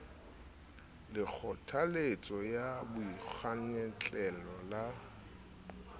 le kgothaletso ya boikgwantlello le